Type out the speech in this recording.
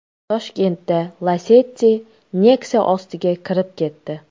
Toshkentda Lacetti Nexia ostiga kirib ketdi.